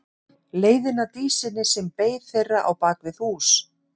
Leiðina að Dísinni sem beið þeirra á bak við hús.